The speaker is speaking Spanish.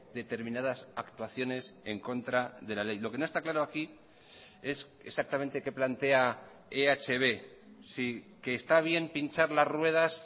determinadas actuaciones en contra de la ley lo que no está claro aquí es exactamente qué plantea ehb si que está bien pinchar las ruedas